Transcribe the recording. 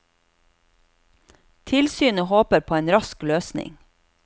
Tilsynet håper på en rask løsning.